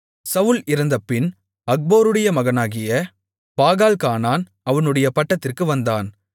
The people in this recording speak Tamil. சவுல் இறந்தபின் அக்போருடைய மகனாகிய பாகால்கானான் அவனுடைய பட்டத்திற்கு வந்தான்